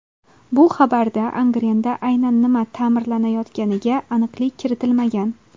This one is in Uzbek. Bu xabarda Angrenda aynan nima ta’mirlanayotganiga aniqlik kiritilmagan.